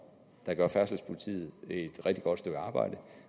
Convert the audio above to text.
der gør færdselspolitiet et rigtig godt stykke arbejde